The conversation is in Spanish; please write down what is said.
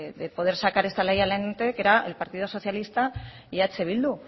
de poder sacar esta ley adelante que eran el partido socialista y eh bildu